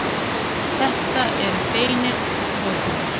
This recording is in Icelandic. Þetta eru beinar hótanir.